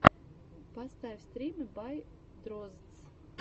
поставь стримы бай дроздс